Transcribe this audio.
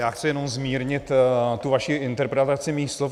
Já chci jenom zmírnit tu vaši interpretaci mých slov.